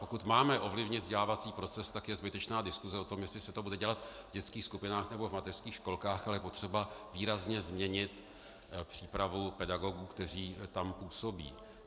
Pokud máme ovlivnit vzdělávací proces, tak je zbytečná diskuse o tom, jestli se to bude dělat v dětských skupinách, nebo v mateřských školkách, ale je potřeba výrazně změnit přípravu pedagogů, kteří tam působí.